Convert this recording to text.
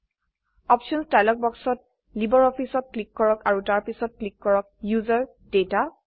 options dialogue বাক্সত LibreOffice ত click কৰক আৰু তাৰপিছত ক্লিক কৰক ওচেৰ ডাটা